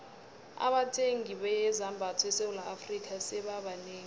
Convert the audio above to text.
abathungi bezambatho esewula afrika sebaba banengi